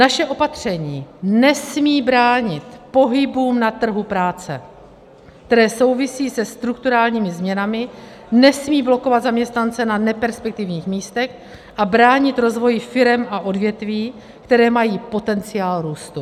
Naše opatření nesmí bránit pohybu na trhu práce, který souvisí se strukturálními změnami, nesmí blokovat zaměstnance na neperspektivních místech a bránit rozvoji firem a odvětví, které mají potenciál růstu.